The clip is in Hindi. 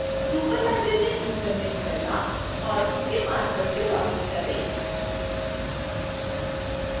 superlibrarian username bella और उसके password से login करें